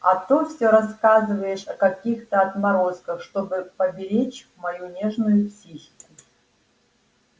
а то всё рассказываешь о каких-то отморозках чтобы поберечь мою нежную психику